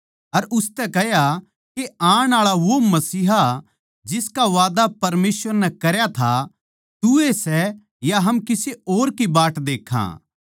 अर उसतै कह्या के आण आळा वो मसीहा जिसका वादा परमेसवर नै करया था तू ए सै या हम किसे और की बाट देक्खां